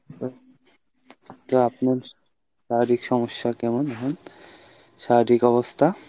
তারপর ? কী আপনার শারীরিক সমস্যা কেমন এখন? শারীরিক অবস্থা?